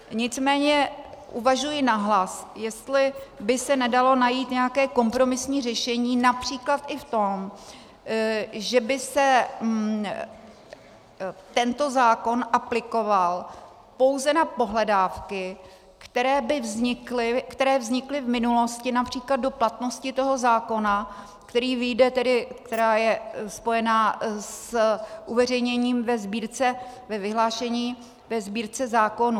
Nicméně uvažuji nahlas, jestli by se nedalo najít nějaké kompromisní řešení, například i v tom, že by se tento zákon aplikoval pouze na pohledávky, které vznikly v minulosti, například do platnosti toho zákona, která je spojena s uveřejněním ve vyhlášení ve Sbírce zákonů.